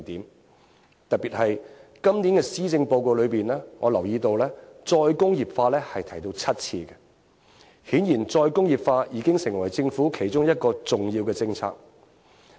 我特別留意到今年的施政報告一共有7次提到再工業化，顯然再工業化已經成為政府其中一項重要政策。